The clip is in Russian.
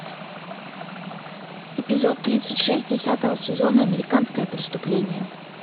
эпизод тридцать шесть десятого сезона американское преступление